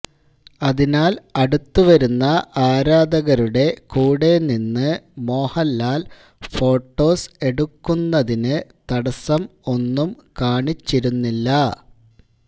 അതിനാല് അടുത്ത് വരുന്ന ആരാധകരുടെ കൂടെ നിന്ന് മോഹന്ലാല് ഫോട്ടോസ് എടുക്കുന്നതിന് തടസം ഒന്നും കാണിച്ചിരുന്നില്ല